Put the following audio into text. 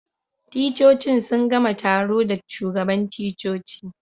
Ticcocin sun gama taro da shugaban ticcoci.